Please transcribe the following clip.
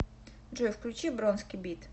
джой включи бронски бит